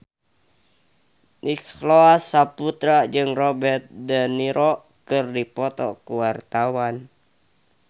Nicholas Saputra jeung Robert de Niro keur dipoto ku wartawan